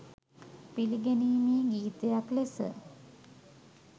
පිළිගැනීමේ ගීතයක් ලෙස.